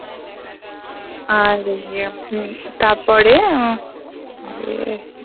আর ইয়ে হম তারপরে আহ "